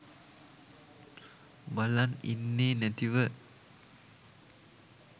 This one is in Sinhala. බලන් ඉන්නේ නැතිව